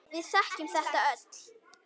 Við þekkjum þetta öll.